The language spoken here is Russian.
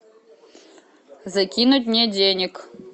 закинуть мне денег